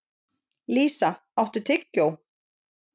Lísa, áttu tyggjó?